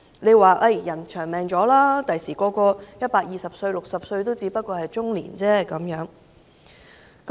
他們說人均壽命延長，將來人人壽命120歲 ，60 歲只是中年而已。